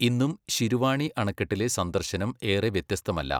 ഇന്നും ശിരുവാണി അണക്കെട്ടിലെ സന്ദർശനം ഏറെ വ്യത്യസ്തമല്ല.